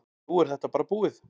Nú er þetta bara búið.